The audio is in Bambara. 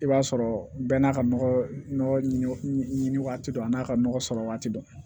I b'a sɔrɔ bɛɛ n'a ka nɔgɔ ɲini waati dɔ a n'a ka nɔgɔ sɔrɔ waati dɔ